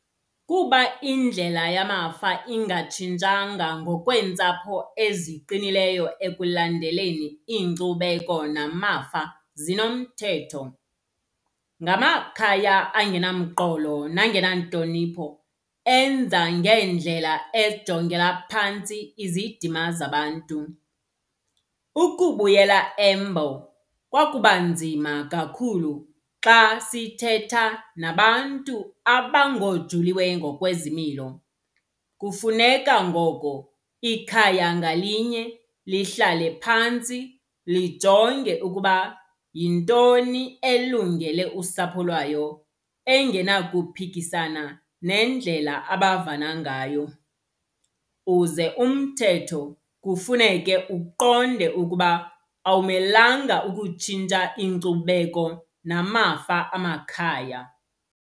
Kuba indlela yamafa ingatshintshanga ngokweentsapho eziqinileyo ekulandeleni iinkcubeko namafa zinomthetho. Ngamakhaya angenamqolo nangentlonipho enza ngeendlela ejongela phantsi izidima zabantu. Ukubuyela embo kwakuba nzima kakhulu xa sithetha nabantu abangooJuliwe ngokwezimilo. Kufuneka ngoko ikhaya ngalinye lihlale phantsi, lijonge ukuba yintoni elungele usapho lwayo engenakuphikisana nendlela abavana ngayo. Uze umthetho kufuneke uqonde ukuba awumelanga ukutshintsha iinkcubeko namafa amakhaya.